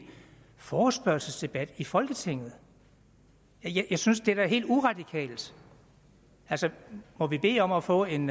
forespørgselsdebat i folketinget jeg synes da det er helt uradikalt altså må vi bede om at få en